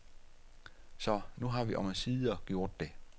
Så nu har vi omsider gjort det.